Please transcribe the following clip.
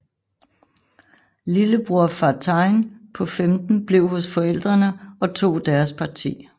Lillebror Fartein på 15 blev hos forældrene og tog deres parti